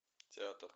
театр